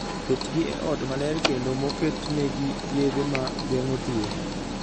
Ketgi e ot maler kendo moketnegi yedhe ma geng'o tuwo